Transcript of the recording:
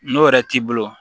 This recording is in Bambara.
N'o yɛrɛ t'i bolo